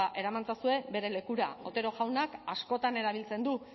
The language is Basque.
eraman ezazue bere lekura otero jaunak askotan erabiltzen du